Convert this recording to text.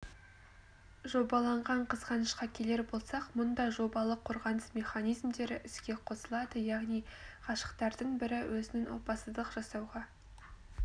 жобаланған қызғанышқа келер болсақ мұнда жобалы қорғаныс механизмдері іске қосылады яғни ғашықтардың бірі өзінің опасыздық жасауға